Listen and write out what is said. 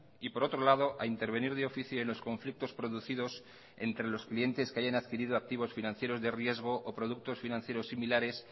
y por otro lado a intervenir de oficio en los conflictos producidos entre los clientes que hayan adquirido activos financieros de riesgo o productos financieros similares